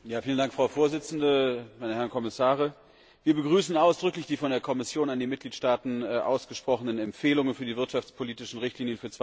Frau Präsidentin, meine Herren Kommissare! Wir begrüßen ausdrücklich die von der Kommission an die Mitgliedstaaten ausgesprochenen Empfehlungen für die wirtschaftspolitischen Richtlinien für